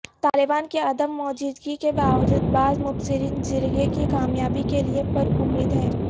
طالبان کی عدم موجودگی کے باوجود بعض مبصرین جرگے کی کامیابی کے لیے پرامید ہیں